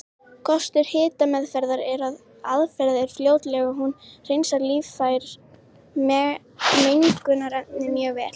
Kostir hitameðferðar eru að aðferðin er fljótleg og hún hreinsar lífræn mengunarefni mjög vel.